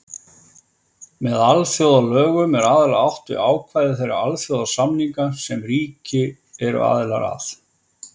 Með alþjóðalögum er aðallega átt við ákvæði þeirra alþjóðasamninga sem ríki eru aðilar að.